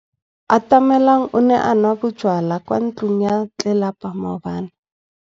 Atamelang o ne a nwa bojwala kwa ntlong ya tlelapa maobane.